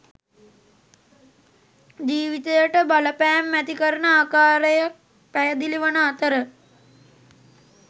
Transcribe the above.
ජීවිතයට බලපෑම් ඇති කරන ආකාරයක් පැහැදිලි වන අතර